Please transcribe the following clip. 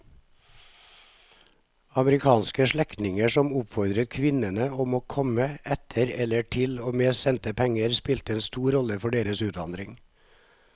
Amerikanske slektninger som oppfordret kvinnene om å komme etter eller til og med sendte penger spilte en stor rolle for deres utvandring.